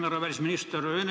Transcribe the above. Härra välisminister!